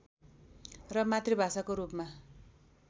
र मातृभाषाको रूपमा